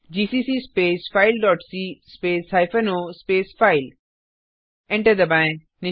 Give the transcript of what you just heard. GCC space file dot c space hyphen o space file enter दबाएँ